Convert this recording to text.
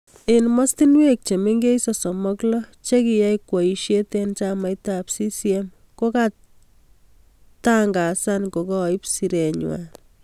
Eng mastunwek chemengech sosom ak lo che kiyai kweishet eng chamait ab CCM ko katingangazan kokaib siret nywa.